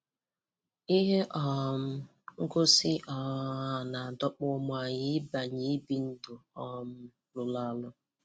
Ihe um ngosi um a na-adọkpụ ụmụ anyị ịbanye n'ibi ndụ um rụrụ arụ.